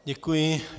Děkuji.